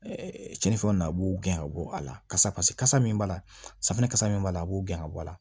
cɛnifɛnw na a b'u gɛn ka bɔ a la kasa pase kasa min b'a la safinɛ kasa min b'a la a b'o gɛn ka bɔ a la